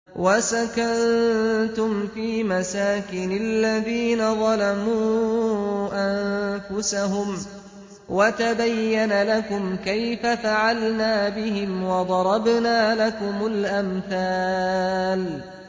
وَسَكَنتُمْ فِي مَسَاكِنِ الَّذِينَ ظَلَمُوا أَنفُسَهُمْ وَتَبَيَّنَ لَكُمْ كَيْفَ فَعَلْنَا بِهِمْ وَضَرَبْنَا لَكُمُ الْأَمْثَالَ